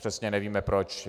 Přesně nevíme proč.